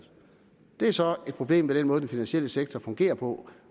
det er så et problem ved den måde den finansielle sektor fungerer på